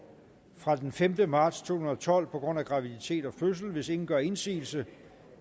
fra den femte marts to tusind og tolv på grund af graviditet og fødsel hvis ingen gør indsigelse